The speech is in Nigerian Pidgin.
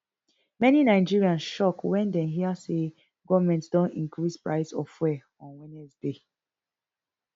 many nigerians shock wen dem hear say goment don increase price of fuel on wednesday